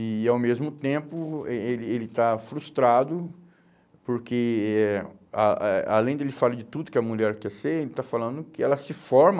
E, ao mesmo tempo, eh ele ele está frustrado porque, eh a eh além de ele falar de tudo que a mulher quer ser, ele está falando que ela se forma